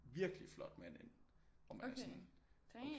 Virkelig flot mand ind og man er sådan